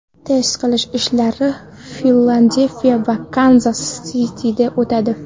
Test qilish ishlari Filadelfiya va Kanzas Sitida o‘tadi.